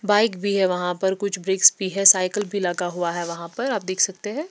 Bike भी है वहाँ पर कुछ ब्रेक्स भी हैं साइकिल भी लगा हुआ है वहाँ पर आप देख सकते हैं।